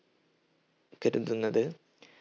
കരുതുന്നത്